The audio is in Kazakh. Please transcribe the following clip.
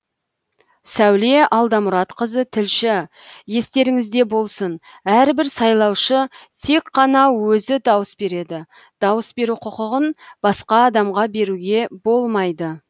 сәуле алдамұратқызы тілші естеріңізде болсын әрбір сайлаушы тек қана өзі дауыс береді дауыс беру құқығын басқа адамға беруге болмайды